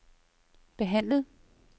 behandlet